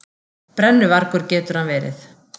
Brennuvargur getur hann verið!